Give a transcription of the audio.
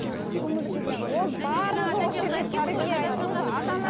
көңілге де ол барлығы